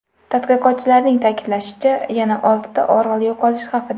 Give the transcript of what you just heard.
Tadqiqotchilarning ta’kidlashicha, yana oltita orol yo‘qolish xavfida.